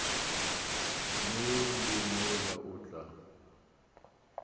mo le mola o tla